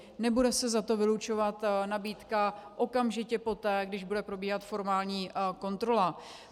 Nebude se za to vylučovat nabídka okamžité poté, když bude probíhat formální kontrola.